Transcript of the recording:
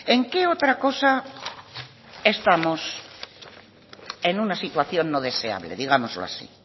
en qué otra cosa estamos en una situación no deseable digámoslo así